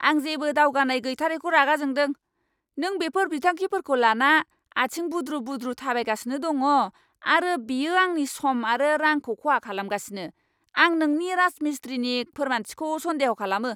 आं जेबो दावगानाय गैथारैखौ रागा जोंदों। नों बेफोर बिथांखिफोरखौ लाना आथिं बुद्रु बुद्रु थाबायगासिनो दङ आरो बेयो आंनि सम आरो रांखौ खहा खालामगासिनो, आं नोंनि राजमिस्ट्रिनि फोरमानथिखौ सन्देह' खालामो!